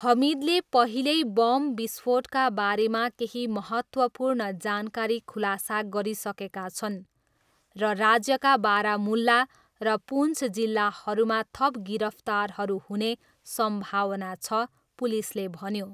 हमिदले पहिल्यै बम विस्फोटका बारेमा केही महत्त्वपूर्ण जानकारी खुलासा गरिसकेका छन्, र राज्यका बारामुल्ला र पुन्च जिल्लाहरूमा थप गिरफ्तारहरू हुने सम्भावना छ, पुलिसले भन्यो।